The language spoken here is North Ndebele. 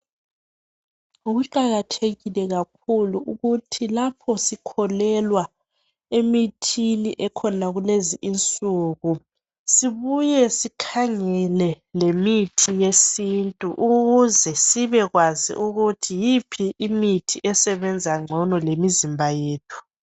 Kuqakathekile kakhulu ukuthi lapho sikholelwa emithini ekhona kulezi insuku, sibuye sikhangele lemithi yesintu ukuze sibekwazi ukuthi yiphi imithi esebenza ngcono lemizimba yethu.